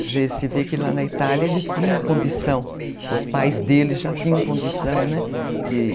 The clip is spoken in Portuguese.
Quer dizer, se vê que lá na Itália ele tinha condição, os pais dele já tinham condição, né?